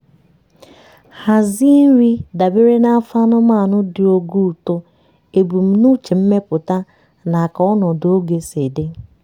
hazie nri dabere na afọ anụmanụ dị ogo uto ebumnuche mmepụta na ka ọnọdụ oge sị dị.